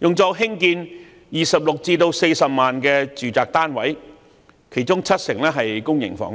用作興建26萬至40萬個住宅單位，其中七成是公營房屋。